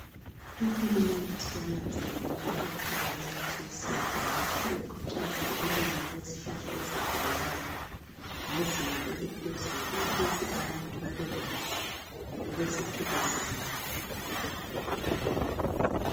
uhulumende sewananzelela ukuqakatheka kwemithi yesintu ngakho ukhuthaza ukulinywa kwezihlahla ezehlukeneyo ngezinga eliphezulu ukuze abantu babekwazi ukuziphilisa ngakho